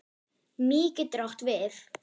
Mý getur átt við